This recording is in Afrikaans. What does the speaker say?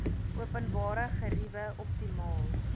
openbare geriewe optimaal